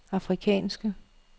afrikanske